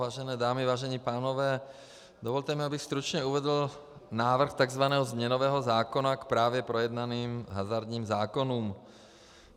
Vážené dámy, vážení pánové, dovolte mi, abych stručně uvedl návrh tzv. změnového zákona k právě projednaným hazardním zákonům.